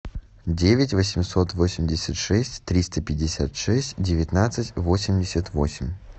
девять восемьсот восемьдесят шесть триста пятьдесят шесть девятнадцать восемьдесят восемь